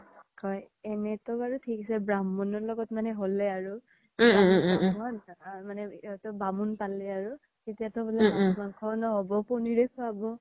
কই এনেতো বাৰু থিক আছে ব্ৰাহমনৰ লগত মানে হ্'লে আৰু থিক আছে মানে বামুন পলে আৰু এতিয়া বুলে মাচ মানংখ্যও ন্হ্'ব পনীৰে খুৱাব